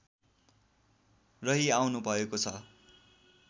रहिआउनुभएको छ